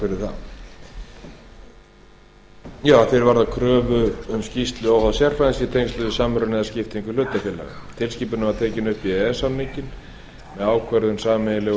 það að því er varðar kröfu um skýrslu óháðs sérfræðings í tengslum við samruna eða skiptingu hlutafélaga tilskipunin var tekin upp í e e s samninginn með ákvörðun sameiginlegu e